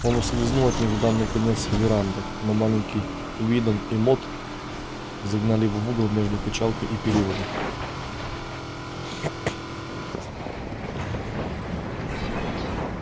он ускользнул от них в дальний конец веранды но маленький уидон и мод загнали его в угол между качалкой и перилами